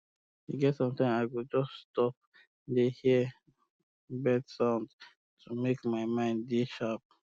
e get sometime i go just stop um dey hear um bird sound to make my mind um dey sharp